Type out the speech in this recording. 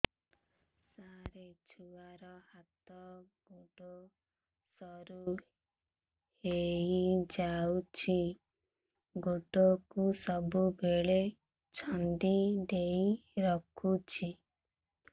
ସାର ଛୁଆର ହାତ ଗୋଡ ସରୁ ହେଇ ଯାଉଛି ଗୋଡ କୁ ସବୁବେଳେ ଛନ୍ଦିଦେଇ ରଖୁଛି